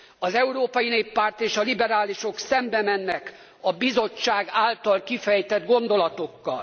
Az Európai Néppárt és a Liberálisok szembe mennek a Bizottság által kifejtett gondolatokkal.